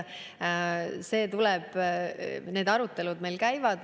See tuleb, need arutelud käivad.